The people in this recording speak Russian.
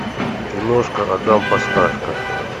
киношка адам поставька